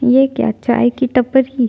ये क्या चाय की टपरी --